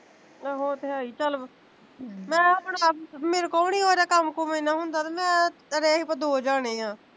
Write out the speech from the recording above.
ਉਹ ਤੇ ਹੈ ਹੀਂ ਚੱਲ ਮੈਂ ਆਪਣੇ ਆਪ ਮੇਰੇ ਕੋਲੋਂ ਵੀ ਮੇਰਾ ਕੰਮ ਕੁਮ ਇਨਾਂ ਹੁੰਦਾ ਤੇ ਮੈਂ ਦੋ ਜਣੇ ਆ